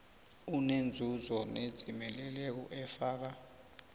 enenzuzo nedzimeleleko efaka